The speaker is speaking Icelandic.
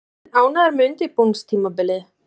Er Þorsteinn ánægður með undirbúningstímabilið?